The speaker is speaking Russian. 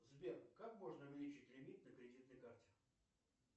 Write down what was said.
сбер как можно увеличить лимит на кредитной карте